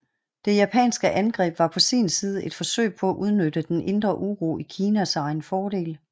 Det japanske angreb var på sin side et forsøg på at udnytte den indre uro i Kina til egen fordel